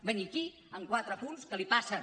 venir aquí amb quatre apunts que li passen